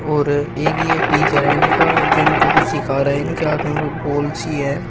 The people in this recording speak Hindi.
और एक ये टीचर हैं इनका जो इनको कुछ सिखा रहे हैं इनके हाथ में कुछ बॉल सी हैं।